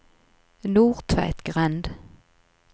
Nordtveitgrend